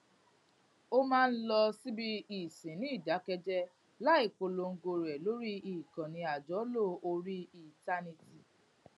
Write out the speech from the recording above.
ó máa ń lọ síbi ìsìn ní ìdákẹjéé láì polongo rẹ lórí ìkànnì àjọlò orí íńtánẹẹtì